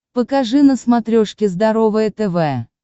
покажи на смотрешке здоровое тв